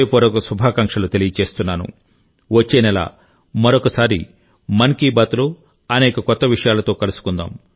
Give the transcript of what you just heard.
అనేక కొత్త అంశాలతో వచ్చేనెల మరోసారి మన్ కి బాత్ తప్పకుండా నిర్వహిస్తాను